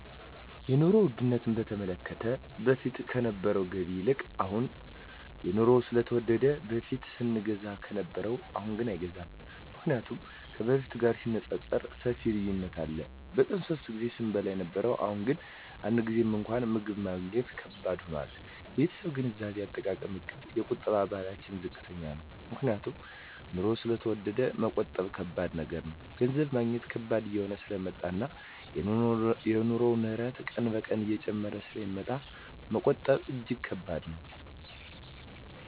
የኑሮ ዉድነቱ በተመለከተ በፊት ከነበረዉ ገቢ ይልቅ አሁን የኑሮዉ ስለተወደደ በፊት ስንገዛ ከነበረ አሁንግን አይገዛም ምክንያቱም ከበፊቱ ጋር ሲነፃፀር ሰፊ ልዩነት አለ በቀን ሶስት ጊዜ ስንበላ የነበረዉ አሁን ግን አንድ ጊዜም እንኳን ምግብ ማግኘት ከባድ ሆኗል የቤተሰቤ የገንዘብ አጠቃቀምእቅድ የቁጠባ ባህላችን ዝቅተኛ ነዉ ምክንያቱም ኑሮዉ ስለተወደደ መቆጠብ ከባድ ነገር ነዉ ገንዘብ ማግኘት ከባድ እየሆነ ስለመጣእና የኑሮዉ ንረት ቀን ቀን እየጨመረ ስለሚመጣ መቆጠብ እጂግ ከባድ ነዉ